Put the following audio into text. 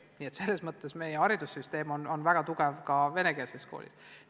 Nii et selles mõttes on meie haridus väga hea ka venekeelses koolis.